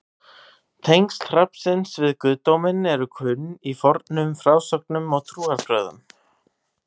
tengsl hrafnsins við guðdóminn eru kunn í fornum frásögnum og trúarbrögðum